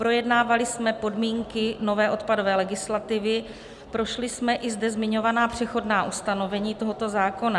Projednávali jsme podmínky nové odpadové legislativy, prošli jsme i zde zmiňovaná přechodná ustanovení tohoto zákona.